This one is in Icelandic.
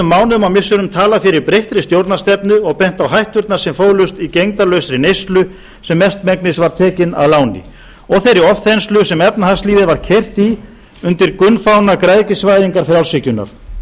mánuðum og misserum talað fyrir breyttri stjórnarstefnu og bent á hætturnar sem fólust í gegndarlausri neyslu sem mestmegnis var tekin að láni og þeirri ofþenslu sem efnahagslífið var keyrt í undir gunnfána græðgisvæðingar frjálshyggjunnar